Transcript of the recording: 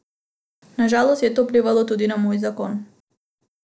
Na žalost je to vplivalo tudi na moj zakon.